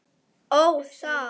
Ó, það!